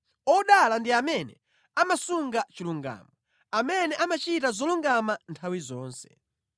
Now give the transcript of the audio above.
Odala ndi amene amasunga chilungamo, amene amachita zolungama nthawi zonse.